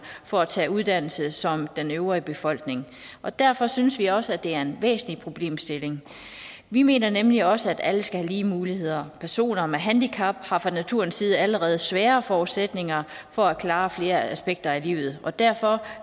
for at tage uddannelse som den øvrige befolkning og derfor synes vi også det er en væsentlig problemstilling vi mener nemlig også at alle skal have lige muligheder personer med handicap har fra naturens side allerede sværere forudsætninger for at klare flere aspekter af livet og derfor